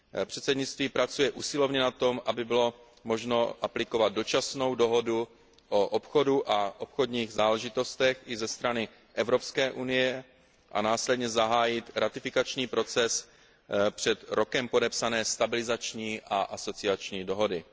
Předsednictví pracuje usilovně na tom, aby bylo možno aplikovat dočasnou dohodu o obchodu a obchodních záležitostech i ze strany Evropské unie a následně zahájit ratifikační proces před rokem podepsané stabilizační a asociační dohody.